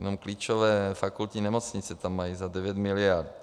Jenom klíčové fakultní nemocnice tam mají za 9 miliard.